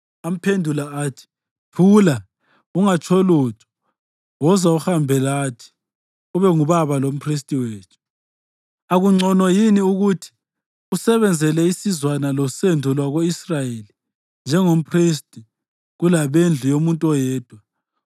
Amphendula athi, “Thula! Ungatsho lutho. Woza uhambe lathi, ube ngubaba lomphristi wethu. Akungcono yini ukuthi usebenzele isizwana losendo lwako-Israyeli njengomphristi kulabendlu yomuntu oyedwa?”